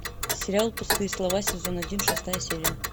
сериал пустые слова сезон один шестая серия